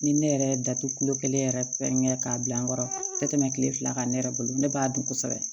Ni ne yɛrɛ ye datugu kulu kelen yɛrɛ pɛrɛn k'a bila n kɔrɔ ka tɛmɛ kile fila kan ne yɛrɛ bolo ne b'a dun kosɛbɛ